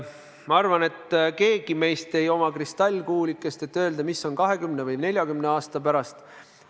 Ma arvan, et kellelgi meist ei ole kristallkuulikest, mille järgi öelda, mis on 20 või 40 aasta pärast.